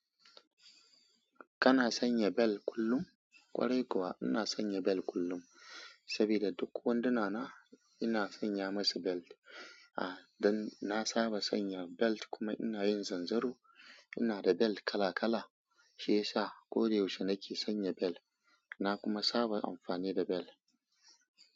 Kana sanya bel kullum? Ƙwarai kuwa ina sanya belt kullum, saboda duk wanduna na ina sanya masu belt. A, dan na saba sanya belt kuma ina yin zanzaro. Ina da belt kala-kala, shiyasa koda yaushe nake sanya belt. Na kuma saba amfani da bel.